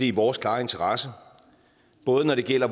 i vores klare interesse både når det gælder